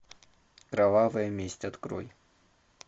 кровавая месть открой